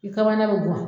I kamana be mɔn